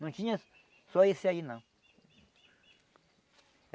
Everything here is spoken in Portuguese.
Não tinha só esse aí não.